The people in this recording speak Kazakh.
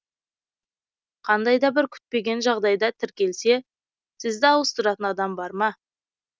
қандай да бір күтпеген жағдайда тіркелсе сізді ауыстыратын адам бар ма